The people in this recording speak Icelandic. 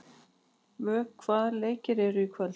Vök, hvaða leikir eru í kvöld?